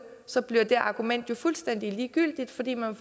så bliver det argument jo fuldstændig ligegyldigt fordi man